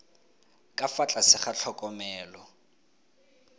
ka fa tlase ga tlhokomelo